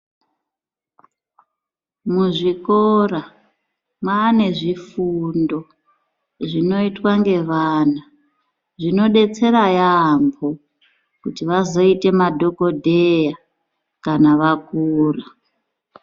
Muzvikora maanezvifundo zvinoitwa ngevana zvinodetsera yaambo kuti vazoite madhokodheya kana vakura.